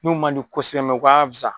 N'u ma di kosɛbɛ ngo u ka fisa.